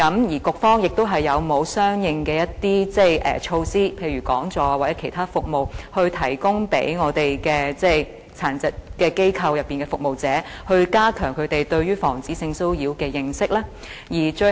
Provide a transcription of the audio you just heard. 而局方有否相應的措施，例如講座或其他服務，以加強殘疾人士服務機構的服務者對防止性騷擾的認識呢？